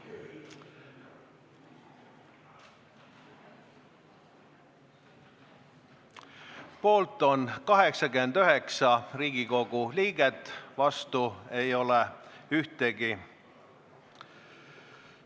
Hääletustulemused Poolt on 89 Riigikogu liiget, vastu ei ole ühtegi.